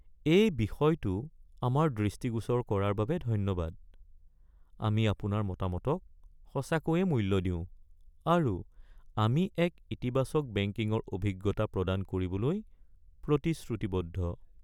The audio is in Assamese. এই বিষয়টো আমাৰ দৃষ্টিগোচৰ কৰাৰ বাবে ধন্যবাদ। আমি আপোনাৰ মতামতক সঁচাকৈয়ে মূল্য দিওঁ, আৰু আমি এক ইতিবাচক বেংকিঙৰ অভিজ্ঞতা প্ৰদান কৰিবলৈ প্ৰতিশ্ৰুতিবদ্ধ।